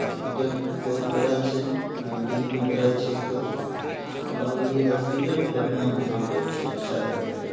hospital बहुत बड़ा छै बिल्डिंग भी बड़ा छै एकर और इ हॉस्पिटल बढ़िया हॉस्पिटल छै अच्छा हॉस्पिटल --